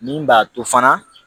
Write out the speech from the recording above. Min b'a to fana